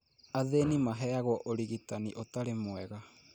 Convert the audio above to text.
Athĩni maheagwo ũrigitani ũtari mwega